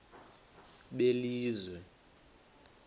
belizwe